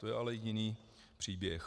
To je ale jiný příběh.